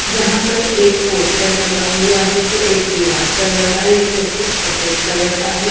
यहां पर एक पोस्टर लगा हुआ है जो एक दीवार पर लगा ये पोस्टर सफेद कलर का है।